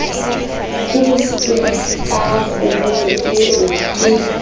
hobositsweng ka kgoboso eo ke